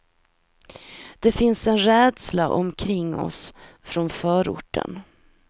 Det finns en rädsla omkring oss från förorten.